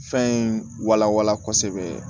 Fɛn in walawala kosɛbɛ